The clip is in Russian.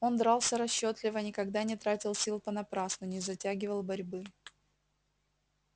он дрался расчётливо никогда не тратил сил понапрасну не затягивал борьбы